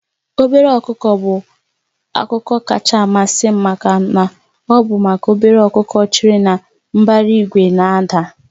Obere ọkụkọ bụ akụkọ kacha amasị m maka na ọ bụ maka obere ọkụkọ chere na mbara igwe na-ada.